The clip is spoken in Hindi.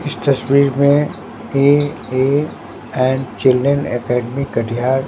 इस तस्वीर में A A and children academy Katihar--